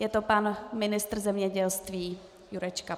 Je to pan ministr zemědělství Jurečka.